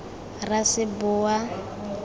raseboa